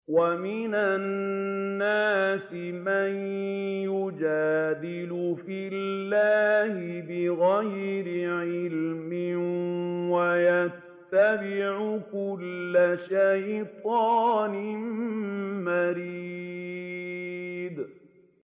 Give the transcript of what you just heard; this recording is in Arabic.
وَمِنَ النَّاسِ مَن يُجَادِلُ فِي اللَّهِ بِغَيْرِ عِلْمٍ وَيَتَّبِعُ كُلَّ شَيْطَانٍ مَّرِيدٍ